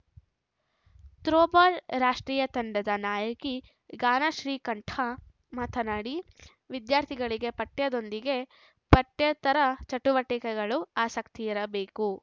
throwball ರಾಷ್ಟ್ರೀಯ ತಂಡದ ನಾಯಕಿ ಗಾನ ಶ್ರೀಕಂಠ ಮಾತನಾಡಿ ವಿದ್ಯಾರ್ಥಿಗಳಿಗೆ ಪಠ್ಯದೊಂದಿಗೆ ಪಠ್ಯೇತರ ಚಟುವಟಿಕೆಗಳಲ್ಲೂ ಆಸಕ್ತಿಯಿರಬೇಕು